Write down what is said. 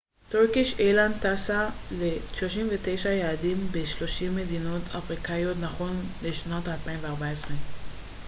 טורקיש איירליינס טסה ל-39 יעדים ב-30 מדינות אפריקאיות נכון לשנת 2014